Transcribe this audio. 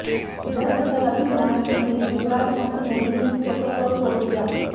दरअसर अपनी मां से मिलने गुजरात पहुंची मोदी ने प्रोटोकॉल तोड़ दिया